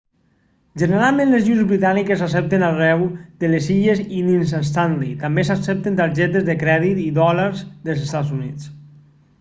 generalment les lliures britàniques s'accepten arreu de les illes i dins stanley també s'accepten targetes de crèdit i dòlars dels estats units